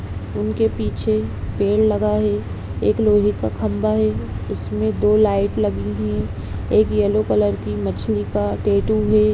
उनके पीछे पेड़ लगा है एक लोहे का खंबा है उसमें दो लाइट लगी है एक येलो कलर की मछली का टैटू है।